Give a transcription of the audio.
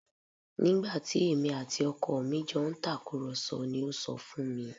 Nígbà tí èmi àti ọkọ mi jọ ń tàkùrọ̀sọ ni ó sọ fún mi